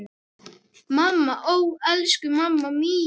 Mamma, ó elsku mamma mín.